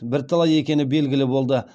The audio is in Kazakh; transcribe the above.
бірталай екені белгілі болды